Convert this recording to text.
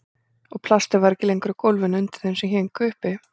Og plastið var ekki lengur á gólfinu undir þeim sem héngu uppi.